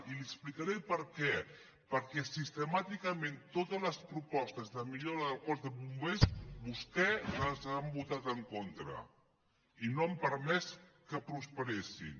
i li explicaré per què perquè sistemàticament en totes les propostes de millora del cos de bombers vostès hi han votat en contra i no han permès que prosperessin